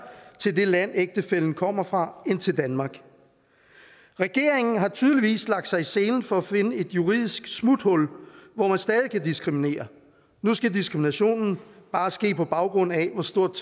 til det land ægtefællen kommer fra end til danmark regeringen har tydeligvis lagt sig i selen for at finde et juridisk smuthul hvor man stadig kan diskriminere nu skal diskriminationen bare ske på baggrund af hvor stort